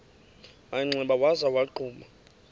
manxeba waza wagquma